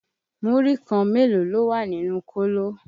Múrí kan mélòó ló wà nínú kóló?